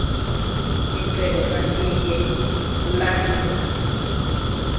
icebo maliye kulandwa